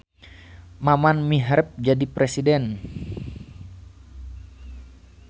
Maman miharep jadi presiden